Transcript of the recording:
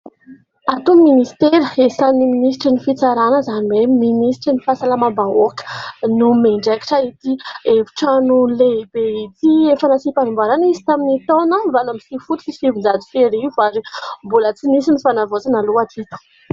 Ato ny ministera iasan'ny ministry ny fitsarana izany hoe ministry ny fahasalama bahoaka no miandrakitra ity hefitrano lehibe ity. Efa nasina fanamboarana izy tamin'ny taona valo aminy sivy folo sy sivin-jato sy arivo. Ary mbola tsy nisy ny fanavaozana aloha atreto.